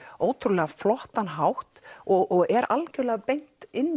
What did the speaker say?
ótrúlega flottan hátt og er algjörlega beint inn